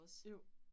Jo